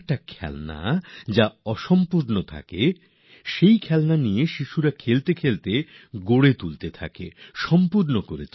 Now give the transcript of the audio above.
এমন খেলনা যা অর্ধেক গড়া হয়েছে শিশুরা খেলতে খেলতে তা সম্পূর্ণ করবে